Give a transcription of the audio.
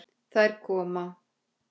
Þær koma.